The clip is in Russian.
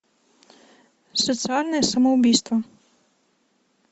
социальное самоубийство